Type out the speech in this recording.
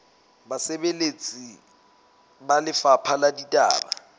basebeletsi ba lefapha la ditaba